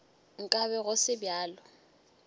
nka be go se bjalo